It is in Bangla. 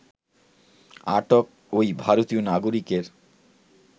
আটক ঐ ভারতীয় নাগরিকের